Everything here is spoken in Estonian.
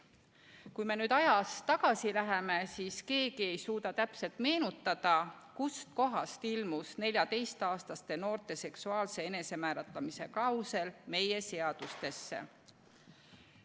Kui me nüüd ajas tagasi läheme, siis keegi ei suuda täpselt meenutada, kust kohast ilmus 14-aastaste noorte seksuaalse enesemääratlemise klausel meie seadustesse.